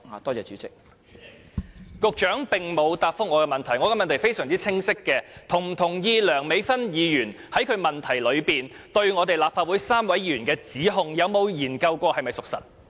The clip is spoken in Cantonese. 代理主席，局長並無答覆我的補充質詢，我的問題相當清晰，他是否同意梁美芬議員在其主體質詢中對於立法會3位議員的指控，他有否研究過是否屬實？